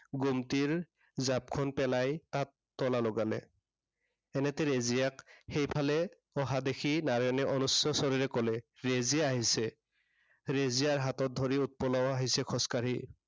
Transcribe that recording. ঘুমটিৰ জাঁপখন পেলাই, তাত তলা লগালে। এনেতে ৰেজিয়াক সেইফালে অহা দেখি নাৰায়ণে অনুচ্ছ স্বৰেৰে কলে, ৰেজিয়া আহিছে। ৰেজিয়াৰ হাতত ধৰি উৎপলাও আহিছে খোঁজকাঢ়ি।